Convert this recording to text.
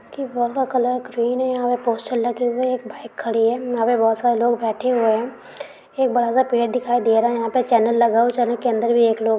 की वॉल का colour green है। यहा पर पोस्टर लगे हुए हैं। एक बाइक खड़ी है। यहा बहुत से लोग बैठे हुए हैं। एक बड़ा-सा पेड़ दिखाई दे रहा है। यहा पर चेनल लगा हुआ है। चेनल के अंदर भी एक लोग --